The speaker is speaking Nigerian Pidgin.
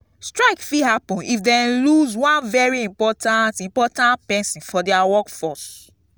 workers de use strike take hold their employers accountable to make sure say everything de fair